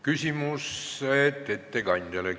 Küsimused ettekandjale.